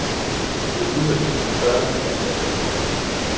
Det er uhøfligt at spørge til antallet af dyr.